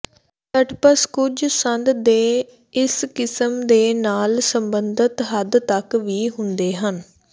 ਸਟਪਸ ਕੁਝ ਸੰਦ ਦੇ ਇਸ ਕਿਸਮ ਦੇ ਨਾਲ ਸਬੰਧਤ ਹੱਦ ਤੱਕ ਵੀ ਹੁੰਦੇ ਹਨ